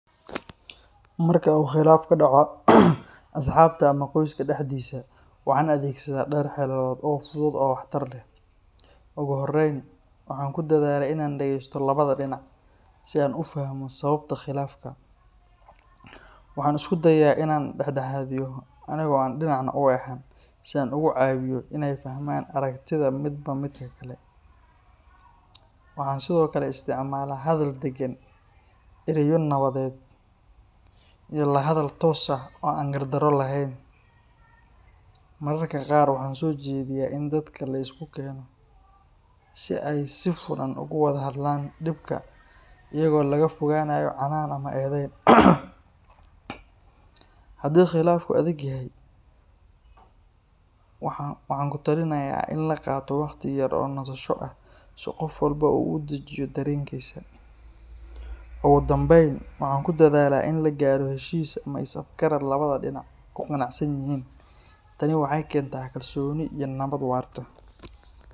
Marka uu khilaaf ka dhaco asxaabta ama qoyska dhexdiisa, waxaan adeegsadaa dhowr xeeladood oo fudud oo waxtar leh. Ugu horreyn, waxaan ku dadaalaa inaan dhageysto labada dhinac si aan u fahmo sababta khilaafka. Waxaan isku dayaa inaan dhex dhexaadiyo anigoo aan dhinacna u eexan, si aan ugu caawiyo inay fahmaan aragtida midba midka kale. Waxaan sidoo kale isticmaalaa hadal deggan, erayo nabadeed iyo la hadal toos ah oo aan gardarro lahayn. Mararka qaar waxaan soo jeediyaa in dadka la isku keeno si ay si furan uga wada hadlaan dhibka, iyadoo laga fogaanayo canaan ama eedayn. Haddii khilaafku adag yahay, waxaan ku talinayaa in la qaato waqti yar oo nasasho ah si qof walba uu u dejiyo dareenkiisa. Ugu dambayn, waxaan ku dadaalaa in la gaaro heshiis ama is-afgarad labada dhinacba ku qanacsan yihiin. Tani waxay keentaa kalsooni iyo nabad waarta.